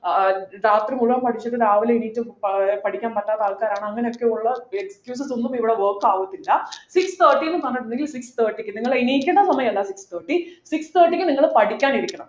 ആഹ് രാത്രി മുഴുവൻ പഠിച്ചിട്ടു രാവിലെ എണീറ്റ് ഏർ പഠിക്കാൻ പറ്റാത്ത ആൾക്കാരാണ് അങ്ങനെയൊക്കെയുള്ള എനിക്കിത് തോന്നുന്നു ഇവിടെ work ആവത്തില്ല six thirty ന്നു പറഞ്ഞിട്ടുണ്ടെങ്കിൽ six thirty ക്ക് നിങ്ങൾ എണീക്കേണ്ട സമയമല്ല six thirty six thirty ക്ക് നിങ്ങൾ പഠിക്കാൻ ഇരിക്കണം